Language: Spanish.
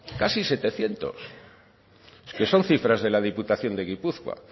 casi setecientos es que son cifras de la diputación de gipuzkoa